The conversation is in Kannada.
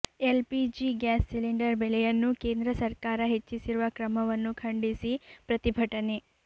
L P G gas cylinder ಬೆಲೆಯನ್ನು ಕೇಂದ್ರ ಸರ್ಕಾರ ಹೆಚ್ಚಿಸಿರುವ ಕ್ರಮವನ್ನು ಖಂಡಿಸಿ ಪ್ರತಿಭಟನೆ